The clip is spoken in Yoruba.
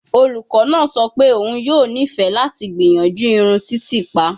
Olukọ naa sọ pe oun yoo nifẹ lati gbiyanju irun titiipa